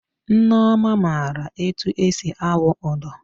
Nneọma maara etu esi awụ ụdọ